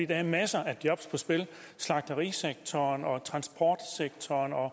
der er masser af jobs på spil i slagterisektoren og transportsektoren og